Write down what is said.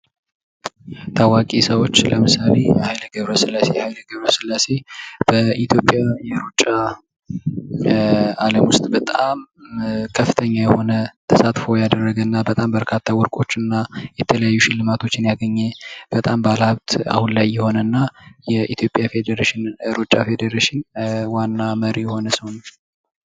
ታዋቂ ሰዎች ለምሳሌ ኃይሌ ገ/ሥላሴ:- ኃይሌ ገ/ሥላሴ በኢትዮጵያ የሩጫ አለም ዉስጥ ከፍተኛ የሆነ ተሳትፎ ያደረገና በጣም በርካታ ወርቆችን እና የተለያዩ ሽልማቶችን ያገኘ በጣም ባለሀብት አሁን ላይ የሆነ እና የኢትዮጵያ ሩጫ ፌዴሬሽን ዋና መሪ የሆነ ሰዉ ነዉ።